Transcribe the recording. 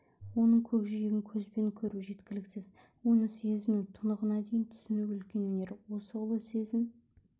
оның көкжиегін көзбен көру жеткіліксіз оны сезіну тұнығына дейін түсіну үлкен өнер осы ұлы сезім